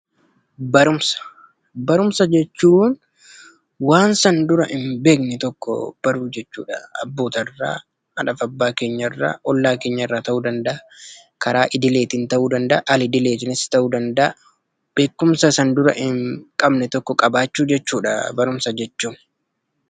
Barumsa Barumsa jechuun waan san dura hin beekne tokko baruu jechuu dha. Abboota irraa, haadhaa fi abbaa keenya irraa, ollaa keenyarraa ta'uu danda'a. Karaa idileetiin ta'uu danda'a; al-idileetiinis ta'uu danda'a. Beekumsa san dura hin qabne tokko qabaachuu jechuu dha barumsa jechuun.